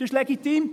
Das ist legitim.